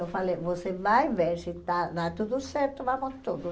Eu falei, você vai ver, se está dá tudo certo, vamos todos.